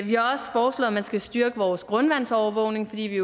man skal styrke vores grundvandsovervågning fordi vi